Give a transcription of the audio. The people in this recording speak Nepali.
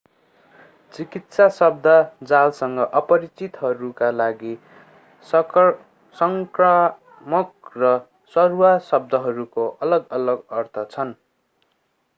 चिकित्सा शब्दजालसँग अपरिचितहरूका लागि संक्रामक र सरुवा शब्दहरूको अलग-अलग अर्थ छन्